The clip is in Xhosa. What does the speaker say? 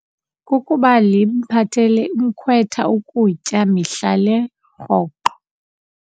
Kukuba limphathele umkhwetha ukutya mihla le rhoqo.